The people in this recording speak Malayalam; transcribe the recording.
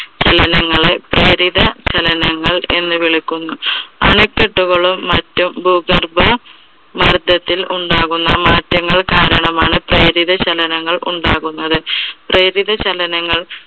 ചലനങ്ങളെ പ്രേരിത ചലനങ്ങൾ എന്ന് വിളിക്കുന്നു. അണക്കെട്ടുകളും മറ്റു ഭുഗർഭ മർദ്ദത്തിൽ ഉണ്ടാകുന്ന മാറ്റങ്ങൾ കാരണമാണ് പ്രേരിത ചലനങ്ങൾ ഉണ്ടാകുന്നത്. പ്രേരിത ചലനങ്ങൾ